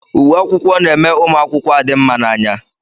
Uwe akwụkwọ na-eme ụmụ akwụkwọ adị mma n'anya.